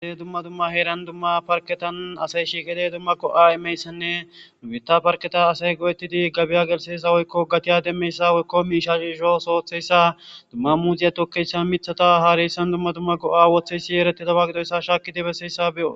Dumma dumma heeran dumma parketan asay shiiqide dumma go'a imeyssanne dubita parketa asay go'ettidi gabiya gelseysa woykko gatiya demmeyssa woykko miishaishoos ootheyssa dumma muuziya tokkeshsha mithata haareyssan dumma dumma go'a wotheysi yeeretti dawa gidoyssa shaaki debesseyssa beyo.